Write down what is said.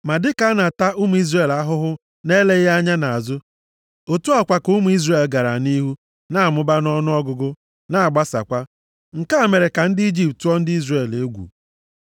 Ma dịka a na-ata ụmụ Izrel ahụhụ na-eleghị anya nʼazụ, otu a kwa ka ụmụ Izrel gara nʼihu na-amụba nʼọnụọgụgụ na-agbasakwa. Nke a mere ka ndị Ijipt tụọ ndị Izrel egwu.